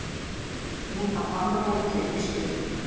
Hún að vanrækja Ísbjörgu.